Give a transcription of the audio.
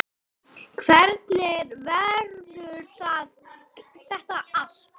Hvernig verður þetta allt?